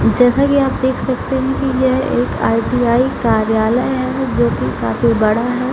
जैसा की आप देख सकते हैं की यह एक आई.टी.आई. कार्यालय है जो की काफी बड़ा है।